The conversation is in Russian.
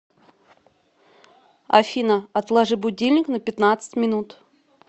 афина отложи будильник на пятнадцать минут